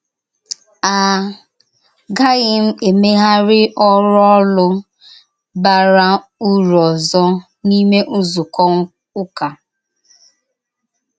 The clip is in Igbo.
À gàghìm emegharị ọrụ ọ́lụ̀ bàrà ùrù ọ̀zọ n’ime nzúkọ ụ́kà.